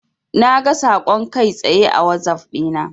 Naga saƙon kai tsaye a wazaf dina.